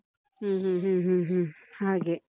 ಹ್ಮ್ ಹ್ಮ್ ಹ್ಮ್ ಹ್ಮ್ ಹ್ಮ್, ಹಾಗೆ.